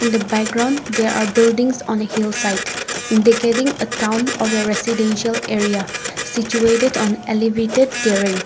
in the background there are buildings on a hillside indicating a town or a residential area situated on elevated terrains.